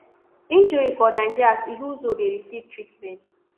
injury for nigeria as ihezuo dey receive treatment